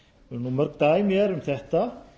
mörg dæmi eru um þetta